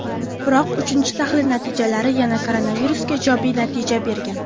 Biroq uchinchi tahlil natijalari yana koronavirusga ijobiy natija bergan.